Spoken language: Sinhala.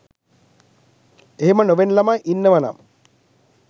එහෙම නොවෙන ළමයි ඉන්නවනම්